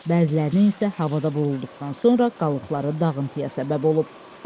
Bəzilərinin isə havada vurulduqdan sonra qalıqları dağıntıya səbəb olub.